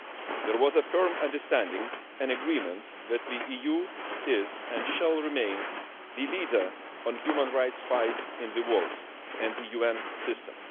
There was a firm understanding and agreement that the EU is, and shall remain, the leader in the human rights fight in the world and the UN system.